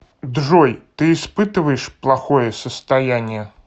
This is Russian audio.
джой ты испытываешь плохое состояние